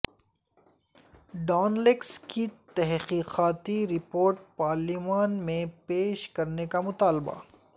Dawn leaks کی تحقیقاتی رپورٹ پارلیمان میں پیش کرنے کا مطالبہ